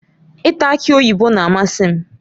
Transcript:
Ịta aki oyibo na-amasị m.